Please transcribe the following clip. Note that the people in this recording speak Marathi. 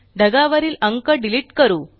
ढगावरील अंक डिलीट करू